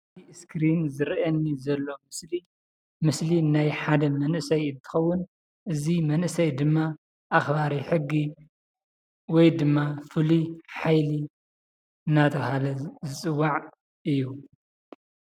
እስኪሬን ዝራኣየኒ ዘሎ ምስሊ ምስሊ ናይ ሓደ መንእሰይ እንትኸዉን እዚ መንእሰይ ድማ ኣኽባሪ ሕጊ ወይ ድማ ፍሉይ ሓይሊ እንዳተባህለ ዝፅዋዕ እዩ።